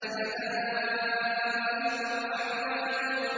حَدَائِقَ وَأَعْنَابًا